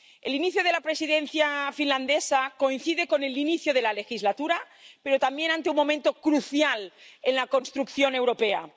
El inicio de la Presidencia finlandesa coincide con el inicio de la legislatura, pero también con un momento crucial en la construcción europea.